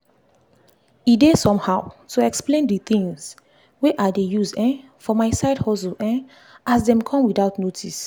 e dey somehow to explain the things wey i dey use um for my side hustle um as dem come without notice